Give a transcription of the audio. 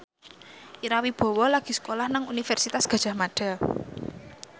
Ira Wibowo lagi sekolah nang Universitas Gadjah Mada